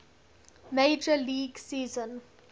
major league season